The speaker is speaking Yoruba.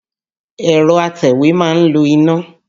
Ẹ̀rọ atẹ̀wé ma ń lo iná.